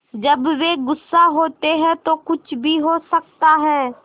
जब वे गुस्सा होते हैं तो कुछ भी हो सकता है